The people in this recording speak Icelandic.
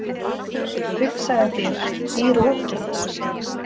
Hugsaðu þér- í roki!